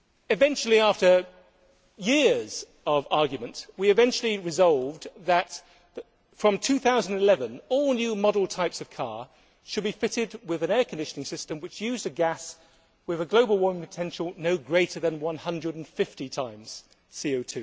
Eventually, after years of argument, we eventually resolved that from 2011 all new models of car should be fitted with an air conditioning system which used a gas with a global warming potential no greater than 150 times CO